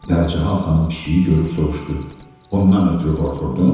Pərcahan xanım pişiyi görüb soruşdu: Ondan ötrü qorxurdun?